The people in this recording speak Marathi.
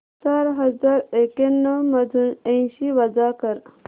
चार हजार एक्याण्णव मधून ऐंशी वजा कर